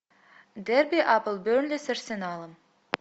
дерби апл бернли с арсеналом